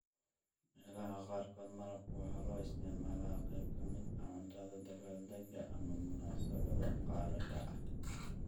Meelaha qaarkood, malabku waxa loo isticmaalaa qayb ka mid ah cuntada dabbaaldegga ama munaasabadaha gaarka ah.